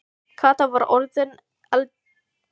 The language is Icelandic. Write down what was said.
Kata var orðin eldrjóð í framan undir lestrinum.